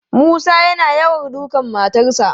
Musa yana yawan dukan matarsa.